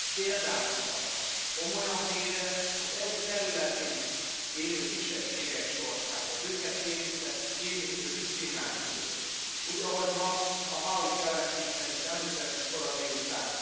Példát mutatva, komolyan véve az EU területén élő kisebbségek sorsát, az őket érintő diszkriminációt is, úgy, ahogy ma a Howitt jelentésben is említettük kora délután.